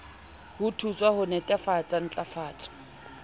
ho thuswa ho netefatsa ntlafatso